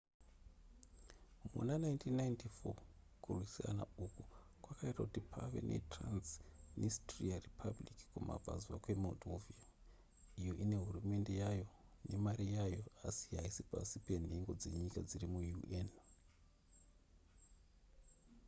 muna 1994 kurwisana uku kwakaita kuti pave netransnistria republic kumabvazuva kwemoldova iyo ine hurumende yayo nemari yayo asi haisi pasi penhengo dzenyika dziri muun